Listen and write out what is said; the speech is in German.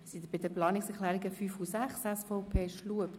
Wir kommen zu den Planungserklärungen 5 und 6 der SVP/Schlup.